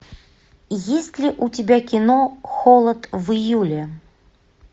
есть ли у тебя кино холод в июле